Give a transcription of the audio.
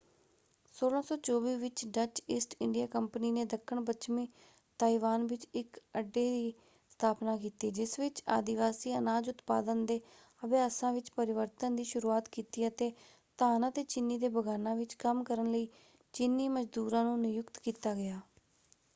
1624 ਵਿੱਚ Dutch east India company ਨੇ ਦੱਖਣ-ਪੱਛਮੀ ਤਾਇਵਾਨ ਵਿੱਚ ਇੱਕ ਅੱਡੇ ਦੀ ਸਥਾਪਨਾ ਕੀਤੀ ਜਿਸ ਵਿੱਚ ਆਦਿਵਾਸੀ ਅਨਾਜ ਉਤਪਾਦਨ ਦੇ ਅਭਿਆਸਾਂ ਵਿੱਚ ਪਰਿਵਰਤਨ ਦੀ ਸ਼ੁਰੂਆਤ ਕੀਤੀ ਅਤੇ ਧਾਨ ਅਤੇ ਚੀਨੀ ਦੇ ਬਗਾਨਾਂ ਵਿੱਚ ਕੰਮ ਕਰਨ ਲਈ ਚੀਨੀ ਮਜ਼ਦੂਰਾਂ ਨੂੰ ਨਿਯੁਕਤ ਕੀਤਾ ਗਿਆ।